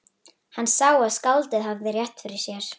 Hann sá að skáldið hafði rétt fyrir sér.